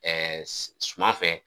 suman fɛ